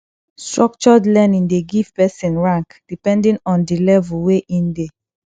structured learning de give person rank depending on di level wey in de